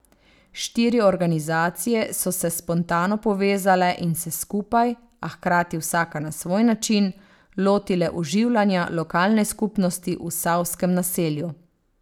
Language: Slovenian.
Štiri organizacije so se spontano povezale in se skupaj, a hkrati vsaka na svoj način, lotile oživljanja lokalne skupnosti v Savskem naselju.